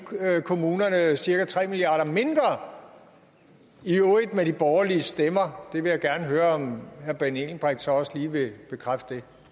kommunerne cirka tre milliard kroner mindre i øvrigt med de borgerlige stemmer det vil jeg gerne høre om herre benny engelbrecht så også lige vil bekræfte